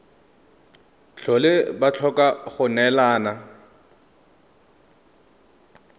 tlhole ba tlhoka go neelana